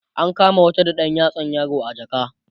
an kama wata da ɗan yatsan yaro a jaka